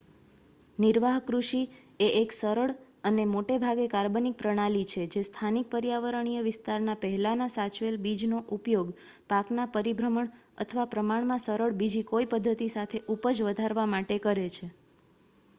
નિર્વાહ કૃષિ એ એક સરળ મોટેભાગે કાર્બનિક પ્રણાલી છે જે સ્થાનિક પર્યાવરણીય વિસ્તારના પહેલાના સાચવેલ બીજનો ઉપયોગ પાકના પરિભ્રમણ અથવા પ્રમાણમાં સરળ બીજી કોઈ પધ્ધતિ સાથે ઉપજ વધારવા માટે કરે છે